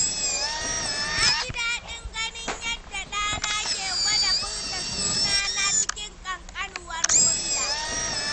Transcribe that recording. Na ji daɗin ganin yadda ɗana ke gwada furta sunana cikin ƙankanuwar murya.